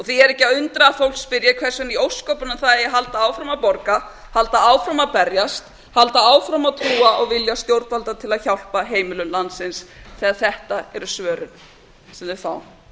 því er ekki að undra að fólk spyrji hvers vegna í ósköpunum það eigi að halda áfram að borga halda áfram að berjast halda áfram að trúa á vilja stjórnvalda til að hjálpa heimilum landsins þegar þetta eru svörin sem þau fá